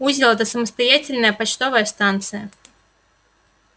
узел это самостоятельная почтовая станция